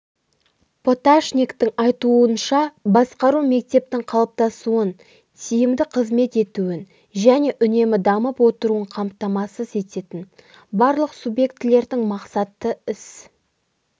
поташниктің айтуынша басқару мектептің қалыптасуын тиімді қызмет етуін және үнемі дамып отыруын қамтамасыз ететін барлық субъектілердің мақсатты іс